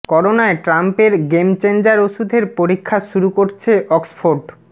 করোনায় ট্রাম্পের game changer ওষুধের পরীক্ষা শুরু করছে অক্সফোর্ড